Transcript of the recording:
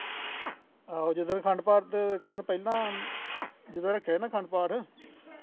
ਆਹੋ ਜਦੋਂ ਅਖੰਡ ਪਾਠ ਤੋਂ ਇੱਕ ਦਿਨ ਪਹਿਲਾਂ ਜਦੋਂ ਰੱਖਿਆ ਸੀ ਨਾ ਅਖੰਡ ਪਾਠ